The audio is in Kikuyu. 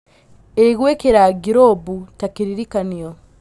Ĩ gwıkĩra ngirũbu ta kĩririkanio?